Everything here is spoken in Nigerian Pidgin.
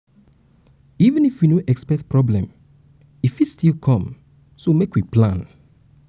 um even if um we no expect problem e fit still come um so make we plan.